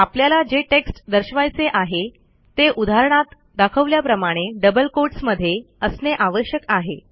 आपल्याला जे टेक्स्ट दर्शवायचे आहे ते उदाहणात दाखवल्याप्रमाणे डबल कोटस मध्ये असणे आवश्यक आहे